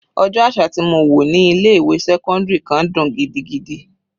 Ọjọ́ àṣà tí mo wò ní ilé ìwé sẹ́cọ́ndírì kan dùn gidigidi.